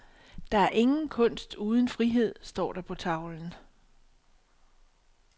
Der er ingen kunst uden frihed, står der på tavlen.